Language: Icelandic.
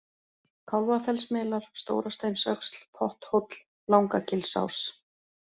Kálfafellsmelar, Stórasteinsöxl, Potthóll, Langagilsás